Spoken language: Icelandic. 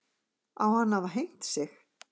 Á hann að hafa hengt sig